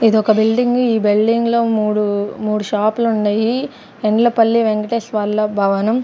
ఇది ఒక బిల్డింగ్ ఈ బిల్డింగ్ లో మూడు మూడు షాప్ లు ఉన్నాయి యండ్లపల్లి వెంకటేష్ వాళ్ళ భవనం.